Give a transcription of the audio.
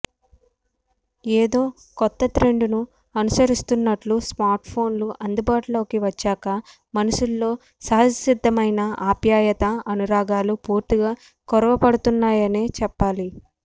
ఏదో కొత్త ట్రెండును అనుసరిస్తున్నట్లు స్మార్ట్ఫోన్లు అందుబాటులోకి వచ్చాక మనుషుల్లో సహజసిద్ధమైన ఆప్యాయత అనురాగాలు పూర్తిగా కొరవడుతున్నాయనే చెప్పాలి